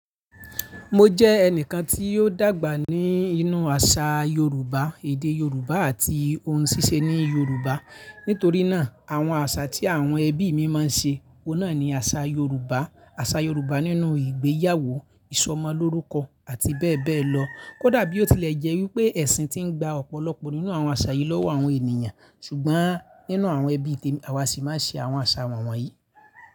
Mo jẹ́ ẹnìkan tí ó dàgbà ní inú àṣà Yorùbá, èdè Yorùbá àti ohun ṣíṣe ní Yorùbá. Nítorí náà àwọn àṣà tí àwọn ẹbí mi máa ń ṣe, ó náà ni àṣà Yorùbá. Àṣà Yorùbá nínú ìgbéyàwó, ìsọmọ lórúkọ àti bẹ́ẹ̀ bẹ́ẹ̀ lọ. Kódà bí ó tilẹ̀ jẹ́ wípé ẹ̀sìn ti ń gba ọ̀pọ̀lọpọ̀ nínú àwọn àṣà yìí lọ́wọ́ àwọn ènìyàn, ṣùgbọ́n nínú àwọn ẹbí temi, àwa sì máa ń ṣe àwọn àṣà wọ̀nyí.